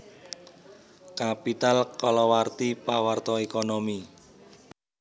Capital kalawarti pawarta ékonomi